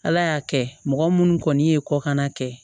Ala y'a kɛ mɔgɔ munnu kɔni ye kɔkanna kɛ